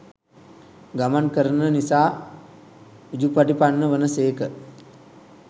ගමන් කරන නිසා උජුපටිපන්න වන සේක